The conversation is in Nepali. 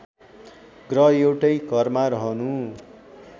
ग्रह एउटै घरमा रहनु